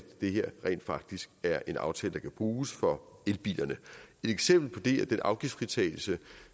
det her rent faktisk er en aftale der kan bruges for elbilerne et eksempel på det er den afgiftsfritagelse